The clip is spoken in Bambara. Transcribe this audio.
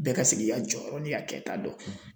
Bɛɛ ka se k'i ka jɔyɔrɔ n'i ka kɛta dɔn.